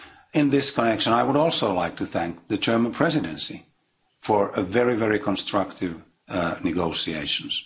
In this connection, I would also like to thank the German Presidency for very, very constructive negotiations.